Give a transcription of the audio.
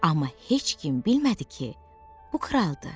Amma heç kim bilmədi ki, bu kraldır.